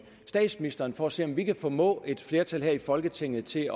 statsministeren for at se om vi kan formå et flertal i folketinget til